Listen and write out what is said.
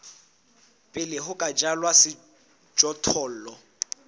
pele ho ka jalwa sejothollo